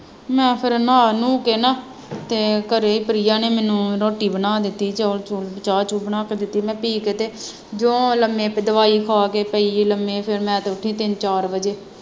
ਮੈਂ ਫੇਰ ਨਹਾ ਨਹੂ ਕੇ ਨਾ, ਅਤੇ ਘਰੇ ਪ੍ਰਿਆ ਨੇ ਮੈਨੂੰ ਰੋਟੀ ਬਣਾ ਦਿੱਤੀ, ਚੋ਼ਲ ਚੂਲ ਚਾਹ ਚੂਹ ਬਣ ਕੇ ਦਿੱਤੀ, ਮੈਂ ਪੀ ਕੇ ਤੇ ਜਿਉਂ ਲੰਮੇ ਪਈ ਦਵਾਈ ਖਾ ਕੇ ਪਈ ਲੰਮੇ ਫੇਰ ਮੈਂੰ ਤੇ ਉੱਠੀ ਤਿੰਨ ਚਾਰ ਵਜੇ